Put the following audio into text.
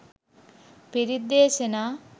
පිරිත් දේශනා